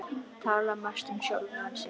Tala mest um sjálfan sig.